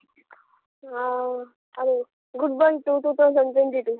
good bye to two thousand twenty two .